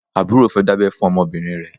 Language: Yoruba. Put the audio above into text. Àbúrò fẹ́ dábẹ́ fún ọmọbìnrin rẹ̀.